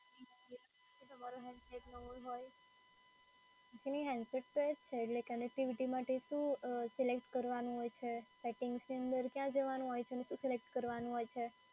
કે તમારો હૅન્ડસેટ નવું હોય. જી handset તો એ જ છે. એટલે connectivity માટે શું અ સિલેક્ટ કરવાનું હોય છે? સેટિંગ્સની અંદર ક્યાં જવાનું હોય છે અને શું સિલેક્ટ કરવાનું હોય છે?